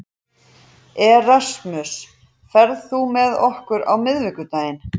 Erasmus, ferð þú með okkur á miðvikudaginn?